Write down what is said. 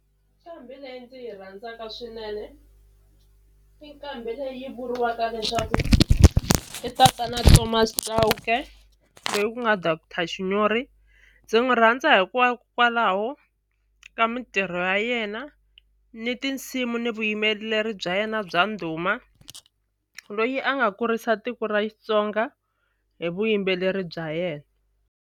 Nqambi leyi ndzi yi rhandzaka swinene i nqambi leyi vuriwaka leswaku i tatana Thomas Chauke ku nga doctor Shinyori ndzi n'wi rhandza hikokwalaho ka mitirho ya yena ni tinsimu ni vuyimbeleri bya yena bya ndhuma loyi a nga kurisa tiko ra Xitsonga hi vuyimbeleri bya yena.